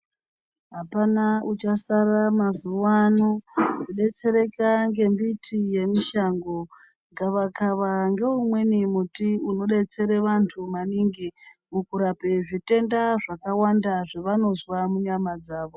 Apana uchasara mazuwaano kudetsereka ngembiti yemushango . Gavakava ngoumweni muti unobetsera vantu maningi mukurape zvitenda zvakawanda zvavanozwa munyama dzawo.